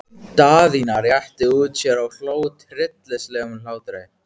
Daðína rétti úr sér og hló tryllingslegum hlátri.